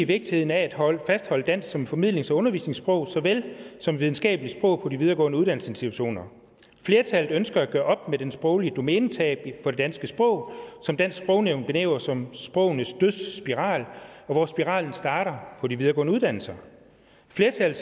vigtigheden af at fastholde dansk som formidlings og undervisningssprog såvel som videnskabeligt sprog på de videregående uddannelsesinstitutioner flertallet ønskede at gøre op med det sproglige domænetab for det danske sprog som dansk sprognævn benævner som sprogenes dødsspiral hvor spiralen starter på de videregående uddannelser flertallet